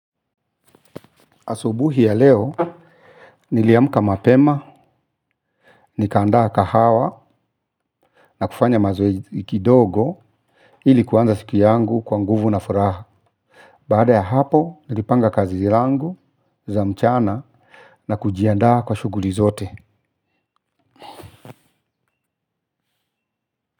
Asubuhi ya leo, niliamka mapema, nikaandaa kahawa na kufanya mazoezi kidogo ili kuanza siku yangu kwa nguvu na furaha. Baada ya hapo, nilipanga kazi yangu ya mchana na kujiandaa kwa shughuli zote.